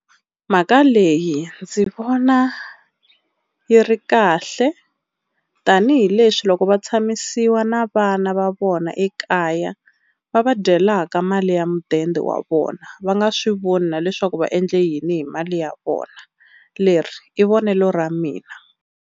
Mhaka leyi ndzi vona yi ri kahle tanihileswi loko va tshamisiwa na vana va vona ekaya va va dyelaka mali ya mudende wa vona, va nga swi voni na leswaku va endle yini hi mali ya vona leri i vonelo ra mina.